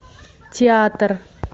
театр